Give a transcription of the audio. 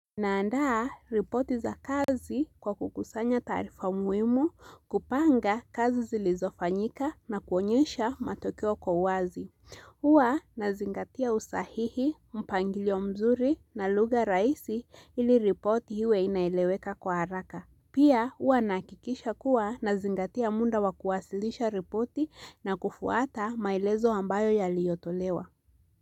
Naandaa ripoti za kazi kwa kukusanya taarifa muhimu kupanga kazi zilizofanyika na kuonyesha matokeo kwa uwazi. Huwa nazingatia usahihi, mpangilio mzuri na lugha rahisi ili ripoti iwe inaeleweka kwa haraka. Pia huwa nahakikisha kuwa nazingatia muda wa kuwasilisha ripoti na kufuata maelezo ambayo yaliyotolewa.